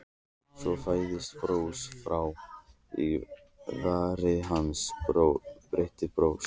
Svo færðist bros fram á varir hans, breitt bros.